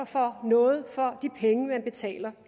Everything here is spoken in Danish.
får noget for de penge man betaler